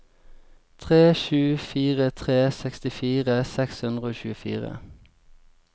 tre sju fire tre sekstifire seks hundre og tjuefire